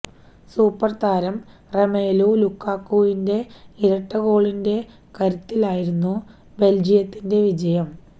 super താരം Romelu ലുകാക്കുവിന്റെ ഇരട്ട ഗോളിന്റെ കരുത്തിലായിരുന്നു ബെല്ജിയത്തിന്റെ വിജയം